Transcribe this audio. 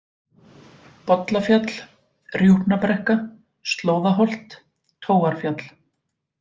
Bollafjall, Rjúpnabrekka, Slóðaholt, Tóarfjall